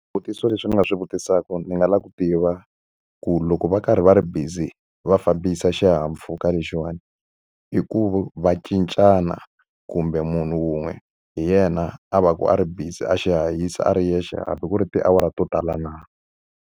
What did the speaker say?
Swivutiso leswi ni nga swi vutisaka, ndzi nga lava ku tiva ku loko va karhi va ri busy va fambisa xihahampfhuka lexiwani, i ku va cincana kumbe munhu wun'we hi yena a va ka a ri busy a xi hahisa a ri yexe hambi ku ri tiawara to tala na?